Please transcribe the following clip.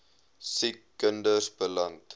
siek kinders beland